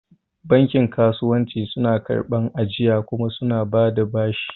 Bankin kasuwanci suna karɓar ajiya kuma suna bada bashi